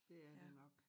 Det er det nok